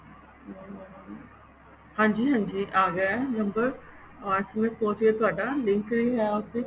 ਹਾਂਜੀ ਹਾਂਜੀ ਆਗਿਆ ਏ number SMS ਪਹੁੰਚ ਗਿਆ ਤੁਹਾਡਾ link ਵੀ ਹੈ ਉਸ ਵਿੱਚ